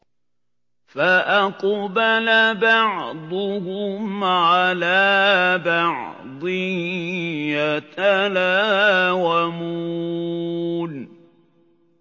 فَأَقْبَلَ بَعْضُهُمْ عَلَىٰ بَعْضٍ يَتَلَاوَمُونَ